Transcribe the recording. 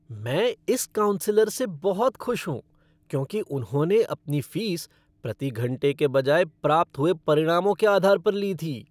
मैं इस काउंसलर से बहुत खुश हूँ क्योंकि उन्होंने अपनी फ़ीस प्रति घंटे के बजाय प्राप्त हुए परिणामों के आधार पर ली थी।